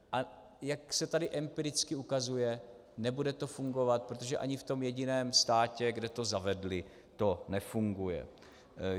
A jak se tady empiricky ukazuje, nebude to fungovat, protože ani v tom jediném státě, kde to zavedli, to nefunguje.